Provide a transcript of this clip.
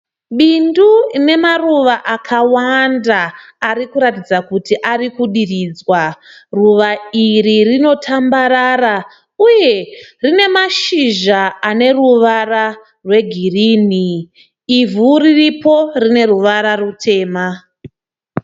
Bindu rine maruva akawanda ari kuratidza kuti ari kudiridzwa. Ruva iri rinotambarara uye rine mashizha aneruvara rwegirini. Ivhu riripo rine ruvara rutema.